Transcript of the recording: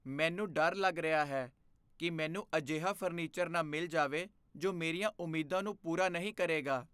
ਮੈਨੂੰ ਡਰ ਲੱਗ ਰਿਹਾ ਹੈ ਕਿ ਮੈਨੂੰ ਅਜਿਹਾ ਫਰਨੀਚਰ ਨਾ ਮਿਲ ਜਾਵੇ ਜੋ ਮੇਰੀਆਂ ਉਮੀਦਾਂ ਨੂੰ ਪੂਰਾ ਨਹੀਂ ਕਰੇਗਾ।